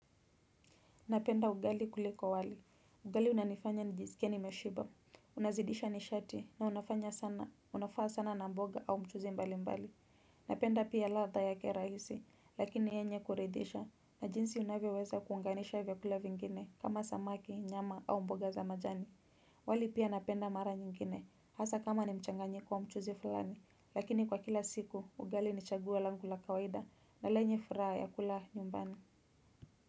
Napenda ugali kuliko wali, ugali unanifanya njisikie nime shiba Unazidisha nishati na unafanya sana, unafaa sana na mboga au mchuzi mbali mbali Napenda pia latha yake rahisi, lakini yenye kuridisha, na jinsi unaweweza kuunganisha vyakula vingine kama samaki, nyama au mboga za majani wali pia napenda mara nyingine, hasa kama ni mchanganyiko wa mchuzi fulani, lakini kwa kila siku ugali nichaguo langu la kawaida na lenye furaha ya kula nyumbani.